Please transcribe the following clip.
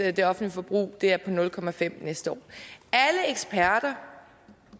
i det offentlige forbrug er på nul procent næste år alle eksperter